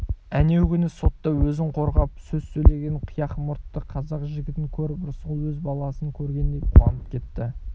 әнеу күні сотта өзін қорғап сөз сөйлеген қияқ мұртты қазақ жігітін көріп рысқұл өз баласын көргендей қуанып кетті